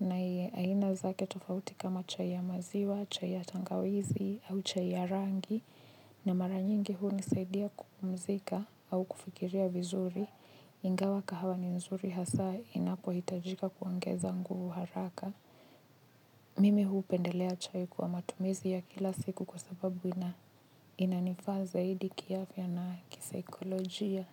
na aina zake tofauti kama chai ya maziwa, chai ya tangawizi au chai ya rangi na mara nyingi hunisaidia kupumzika au kufikiria vizuri ingawa kahawa ni nzuri hasa inapohitajika kuongeza nguvu haraka. Mimi hupendelea chai kwa matumizi ya kila siku kwa sababu inanifaa zaidi kiafya na kisaikolojia.